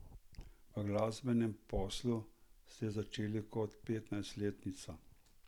V glasbenem poslu ste začeli kot petnajstletnica.